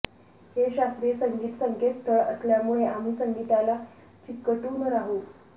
हे शास्त्रीय संगीत संकेतस्थळ असल्यामुळे आम्ही संगीतला चिकटून राहू